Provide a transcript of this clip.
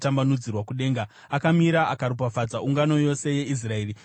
Akamira akaropafadza ungano yose yeIsraeri nenzwi guru akati: